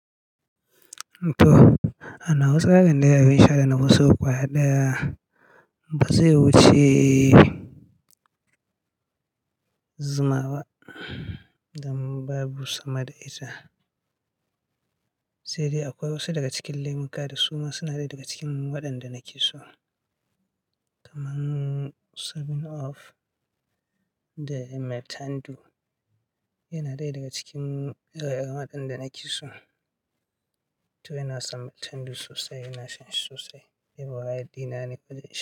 Toh, a nawa tsarin dai abin sha dana fi so ƙwaya daya Ba zai wuce zuma ba don babu sama da ita. Sai dai akwai wasu daga cikin lemuka da su ma suna dai daga cikin waɗanda nake so kamar seven up da maltina. Yana ɗaya daga cikin waɗanda nake so, to ina son maltina sosai, ina shan shi sosai. Waye dina ne ƙullum sha.